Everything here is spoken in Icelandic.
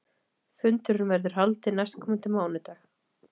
Fundurinn verður haldinn næstkomandi mánudag